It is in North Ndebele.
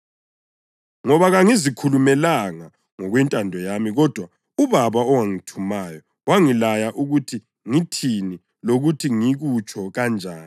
Ngoba kangizikhulumelanga ngokwentando yami kodwa uBaba owangithumayo wangilaya ukuthi ngithini lokuthi ngikutsho kanjani.